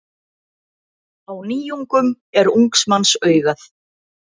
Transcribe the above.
Á nýjungum er ungs manns augað.